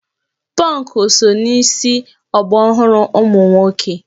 Pọnkụ so na isi ọgbaraọhụrụ ụmụ nwoke